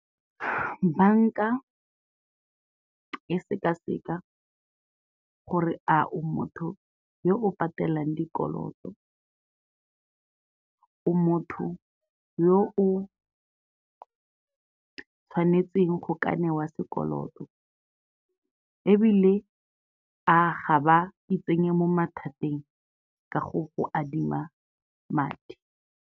Banka e sekaseka gore a o motho yo o patelang dikoloto, o motho yo o tshwanetsweng go ka newa sekoloto ebile a ga ba itsenye mo mathateng ka go go adima madi.